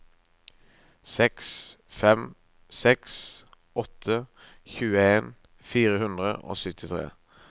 seks fem seks åtte tjueen fire hundre og syttitre